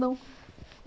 Não.